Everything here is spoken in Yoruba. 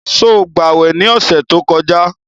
Sọ gbàwè ní ọ̀sẹ̀ tó kọjá?